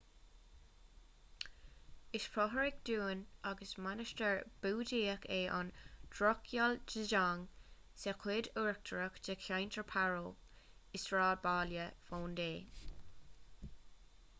is fothrach dúin agus mainistir búdaíoch é an drukgyal dzong sa chuid uachtarach de cheantar paro i sráidbhaile phondey